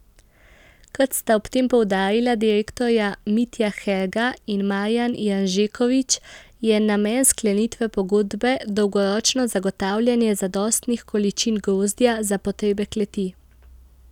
Kot sta ob tem poudarila direktorja Mitja Herga in Marjan Janžekovič, je namen sklenitve pogodbe dolgoročno zagotavljanje zadostnih količin grozdja za potrebe kleti.